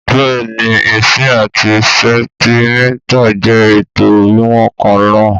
Bẹ́ẹ̀ni, ìǹṣì àti sẹ̀ǹtímítà jẹ́ ètò wíwọ̀n kan náà.